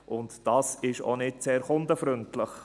Dies ist auch nicht sehr kundenfreundlich.